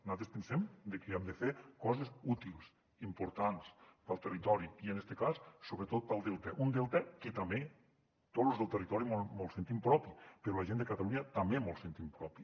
nosaltres pensem que hem de fer coses útils importants per al territori i en este cas sobretot pel delta un delta que també tots los del territori mos el sentim propi però la gent de catalunya també mos el sentim propi